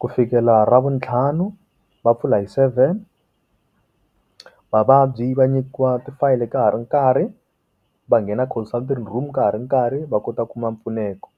ku fikela ra vuntlhanu va pfula hi seven, vavabyi va nyikiwa ti fayele ka ha ri nkarhi va nghena counsulting room ka ha ri nkarhi va kota ku kuma mpfuneko.